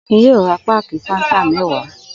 Akin yóò ra páákì Fanta mẹ́wàá.